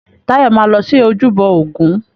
Táyọ̀ máa lọ sí ojúbọ ògún.